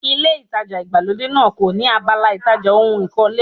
Ilé ìtajà ìgbàlódé náà kò ní abala ìtajà ohun ìkọ́lé.